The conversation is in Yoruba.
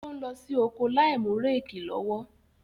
Ó ń lọ sí oko láìmú réèkì lọ́wọ́.